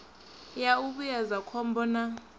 ya u vhuedza khombo na